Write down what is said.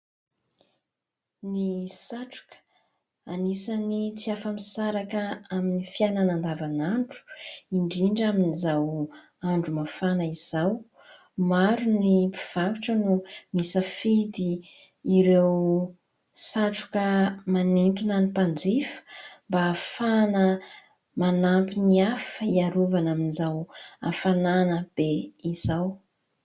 Ny satroka anisany tsy afa-misaraka amin'ny fiainana andavanandro indrindra amin'izao andro mafana izao. Maro ny mpivarotra no nisafidy ireo satroka manintona ny mpanjifa mba ahafahana manampy ny hafa hiarovana amin'izao hafanana be izao.